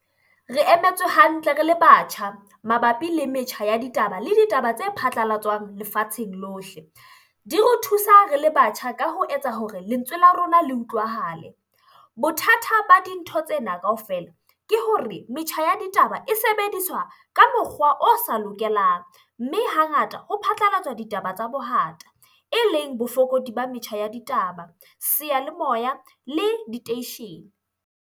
Re emetswe hantle re le batjha mabapi le metjha ya ditaba le ditaba tse phatlalatswang lefatsheng lohle. Di re thusa re le batjha ka ho etsa hore lentswe la rona le utlwahale. Bothata ba dintho tsena kaofela ke hore metjha ya ditaba e sebediswa ka mokgwa o sa lokelang. Mme hangata ho phatlalatswa ditaba tsa bohata eleng bofokodi ba metjha ya ditaba, seyalemoya le diteishene.